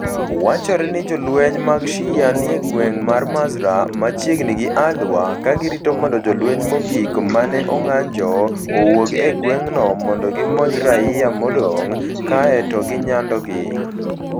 Wachore ni jolweny mag Shia ni e gweng ' mar Mazraa (machiegni gi al-Waer) ka girito mondo jolweny mogik ma ne ong'anjo owuog e gweng'no mondo gimonj raia modong ' kae to ginyandogi.